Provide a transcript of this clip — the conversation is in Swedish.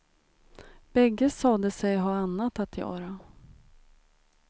Bägge sade sig ha annat att göra.